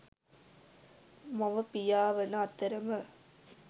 මව, පියා වන අතරම